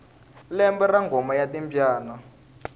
lembe ra ngoma ya timbyana